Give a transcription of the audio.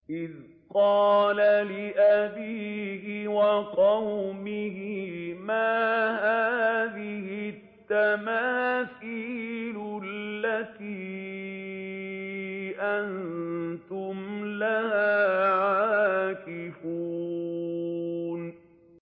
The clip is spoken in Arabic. إِذْ قَالَ لِأَبِيهِ وَقَوْمِهِ مَا هَٰذِهِ التَّمَاثِيلُ الَّتِي أَنتُمْ لَهَا عَاكِفُونَ